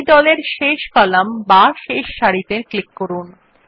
এই দলের শেষ কলাম বা সারিত়ে ক্লিক করুন